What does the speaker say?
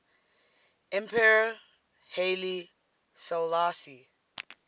emperor haile selassie